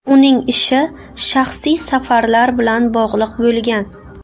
Uning ishi shaxsiy safarlar bilan bog‘liq bo‘lgan.